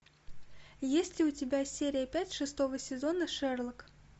есть ли у тебя серия пять шестого сезона шерлок